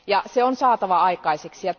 Se on saatava aikaiseksi.